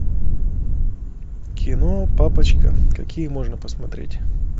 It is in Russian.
кино папочка какие можно посмотреть